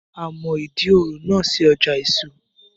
A mọ Ìdí òro náà sí ọjà èso